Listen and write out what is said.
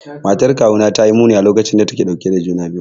Matar kawuna ta yi muni a lokacin da take dauke da juna biyu.